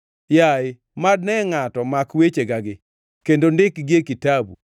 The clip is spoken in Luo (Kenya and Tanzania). “Yaye, mad ne ngʼato mak wechegagi, kendo ndikgi e kitabu,